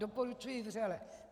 Doporučuji vřele.